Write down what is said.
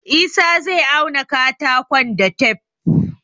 Isah zai auna katakon da tef